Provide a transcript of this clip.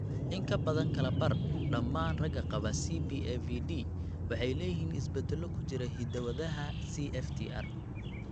In ka badan kala badh dhammaan ragga qaba CBAVD waxay leeyihiin isbeddello ku jira hidda-wadaha CFTR.